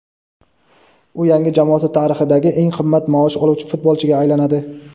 U yangi jamoasi tarixidagi eng qimmat maosh oluvchi futbolchiga aylanadi;.